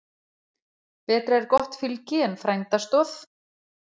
Betra er gott fylgi en frænda stoð.